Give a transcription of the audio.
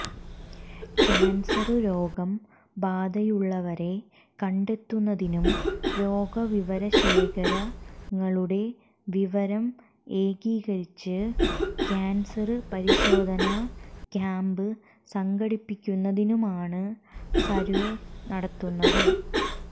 cancer രോഗ ബാധയുള്ളവരെ കണ്ടെത്തുന്നതിനും രോഗവിവരശേഖരണങ്ങളുടെ വിവരം ഏകീകരിച്ച് ക്യാന്സര് പരിശോധനാ ക്യാംപ് സംഘടിപ്പിക്കുന്നതിനുമാണ് സര്വേ നടത്തുന്നത്